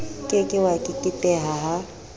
ke ke wa keketeha ha